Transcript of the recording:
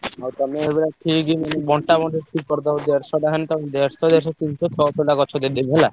ଆଉ ତମେ ଏଗୁଡା ଠିକ୍ ବଣ୍ଟାବଣ୍ଟି ଠିକ୍ କରିଦବ। ଦେଢସଟା ଖଣ୍ଡେ ତାକୁ ଦେଢସ ଦେଢସ ତିନିଶହ ଛଅସହଟା ଗଛ ଦେଇଦେବି ହେଲା।